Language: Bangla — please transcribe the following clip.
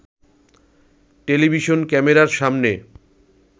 টেলিভিশন ক্যামেরার সামনে